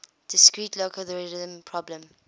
discrete logarithm problem